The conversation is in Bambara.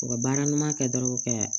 U ka baara ɲuman kɛ dɔrɔn ka